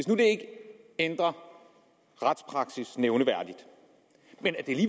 nu ikke ændrer retspraksis nævneværdigt og